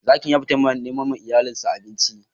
Zaki ya fita neman ma iyalin sa abinci.